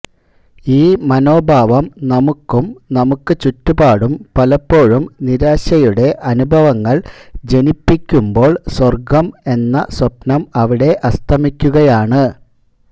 ഈ മനോഭാവം നമുക്കും നമുക്ക് ചുറ്റുപാടും പലപ്പോഴും നിരാശയുടെ അനുഭവങ്ങൾ ജനിപ്പിക്കുന്പോൾ സ്വർഗം എന്ന സ്വപ്നം അവിടെ അസ്തമിക്കുകയാണ്